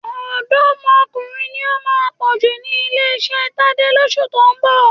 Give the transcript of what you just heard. Ọ̀dọ́mọkùnrin ni ó máa pọ̀ jù ní ilé-iṣẹ́ Tadé lóṣù tó ń bọ̀.